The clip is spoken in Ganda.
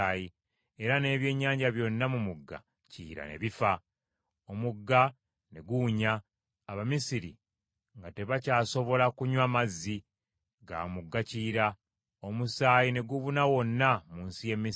Era n’ebyennyanja byonna mu mugga Kiyira ne bifa. Omugga ne guwunya, Abamisiri nga tebakyasobola kunywa mazzi ga mu mugga Kiyira; omusaayi ne gubuna wonna mu nsi y’e Misiri.